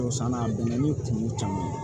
O sann'a bɛnna ni kungo caman ye